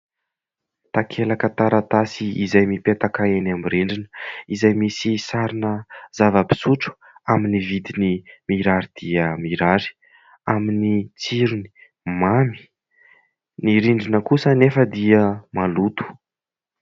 Takelaka taratasy izay mipetaka eny amin'ny rindrina izay misy sarina zava-pisotro amin'ny vidiny mirary dia mirary, amin'ny tsirony mamy. Ny rindrina kosa nefa dia maloto.